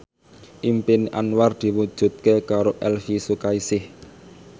impine Anwar diwujudke karo Elvi Sukaesih